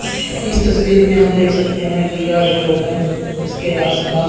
इस तस्वीर में हम देख सकते हैं कि यह एक रोड है इसके आस पास--